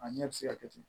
A ɲɛ bɛ se ka kɛ ten